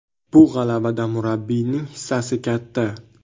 Bu g‘alabada murabbiyning hissasi katta!